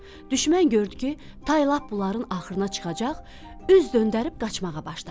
Düşmən gördü ki, tay lap bunların axırına çıxacaq, üz döndərib qaçmağa başladı.